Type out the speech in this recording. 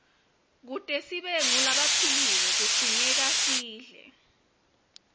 kute sibe ngulabaphilile kudzingekasidle